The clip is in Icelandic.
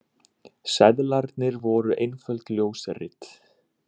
Seðlarnir voru einföld ljósrit